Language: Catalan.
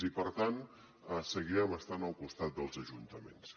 i per tant seguirem estant al costat dels ajuntaments